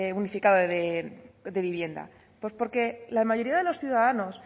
unificado de vivienda pues porque la mayoría de los ciudadanos